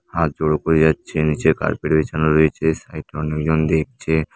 হাত জোড়ো করে যাচ্ছে নিচে কার্পেট বিছানো রয়েছে সাইটে অনেক জন দেখছে।